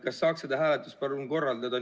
Kas saaks seda hääletus palun korrata?